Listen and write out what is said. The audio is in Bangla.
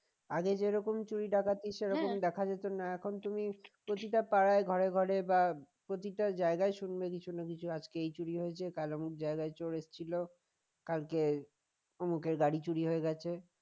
আগে যেরকম চুরি ডাকাতি সে দেখা যেত না এখন তুমি প্রতিটা পাড়ায় ঘরে ঘরে বা প্রতিটা জায়গায় শুনবে কিছু না কিছু আজকে চুরি হয়েছে কাল অমুক জায়গায় চোর এসছিল কালকে অমুকের গাড়ি চুরি হয়ে গেছে